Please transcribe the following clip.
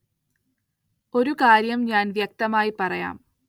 ഒരു കാര്യം ഞാന്‍ വ്യക്തമായി പറയാം